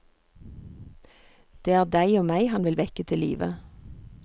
Det er deg og meg han vil vekke til live.